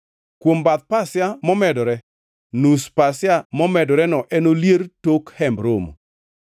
Kuom bath pasia momedore, nus pasia momedoreno enolier e tok Hemb Romo.